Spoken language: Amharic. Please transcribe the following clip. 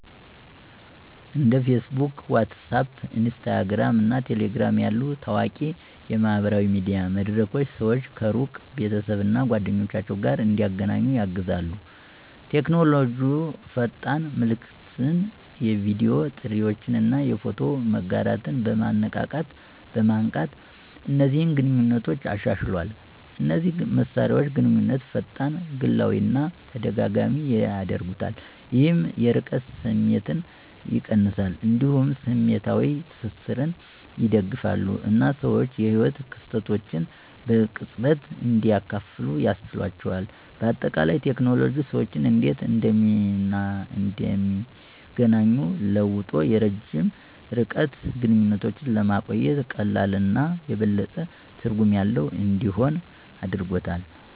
እንደ Facebook፣ WhatsApp፣ Instagram እና Telegram ያሉ ታዋቂ የማህበራዊ ሚዲያ መድረኮች ሰዎች ከሩቅ ቤተሰብ እና ጓደኞች ጋር እንዲገናኙ ያግዛሉ። ቴክኖሎጂ ፈጣን መልዕክትን፣ የቪዲዮ ጥሪዎችን እና የፎቶ መጋራትን በማንቃት እነዚህን ግንኙነቶች አሻሽሏል። እነዚህ መሳሪያዎች ግንኙነትን ፈጣን፣ ግላዊ እና ተደጋጋሚ ያደርጉታል፣ ይህም የርቀት ስሜትን ይቀንሳል። እንዲሁም ስሜታዊ ትስስርን ይደግፋሉ እና ሰዎች የህይወት ክስተቶችን በቅጽበት እንዲያካፍሉ ያስችላቸዋል። በአጠቃላይ፣ ቴክኖሎጂ ሰዎች እንዴት እንደሚገናኙ ለውጦ የረጅም ርቀት ግንኙነቶችን ለማቆየት ቀላል እና የበለጠ ትርጉም ያለው እንዲሆን አድርጎታል።